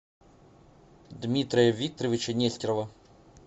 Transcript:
дмитрия викторовича нестерова